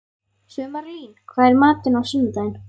Sumarlín, hvað er í matinn á sunnudaginn?